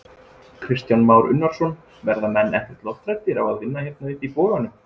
Kristján Már Unnarsson: Verða menn ekkert lofthræddir á að vinna hér uppi í boganum?